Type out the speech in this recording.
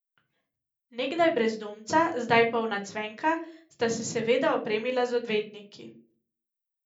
Nekdaj brezdomca, zdaj polna cvenka, sta se seveda opremila z odvetniki.